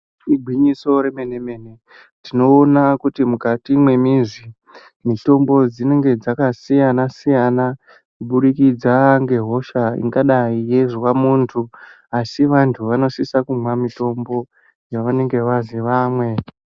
Igwinyiso remene mene tinoona kuti mukati mwemizi mitombo dzinenge dzakasiyana siyana kuburikidza ngehosha ingadi yeizwa muntu asi vantu vanosisa kumwa mitombo yavanenge vaziye vamwe.